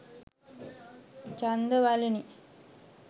ජන්ද වලිනි.